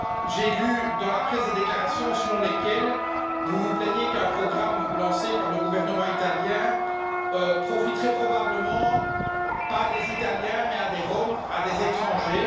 J'ai lu dans la presse des déclarations selon lesquelles vous vous plaignez qu'un programme lancé par le gouvernement italien ne profiterait probablement pas à des Italiens, mais à des Roms, à des étrangers.